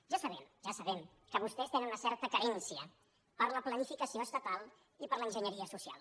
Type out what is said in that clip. ja sabem ja sabem que vostès tenen una certa querència per la planificació estatal i per l’enginyeria social